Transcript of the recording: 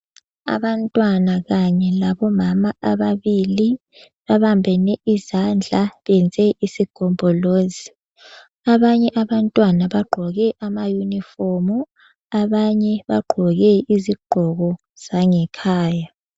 Abantwana kanye labo mama ababili babambene izandla beyenze isigombolozi. Abanye abantwana bagqoke ama uniform abanye bagqoke izigqoko zangekhaya.